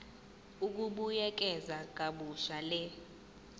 ukubuyekeza kabusha le